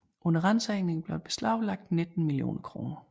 Under ransagninger blev der beslaglagt 19 millioner kroner